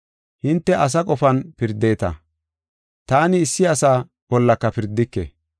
Hinte asa qofan pirdeta; taani issi asa bollaka pirdike.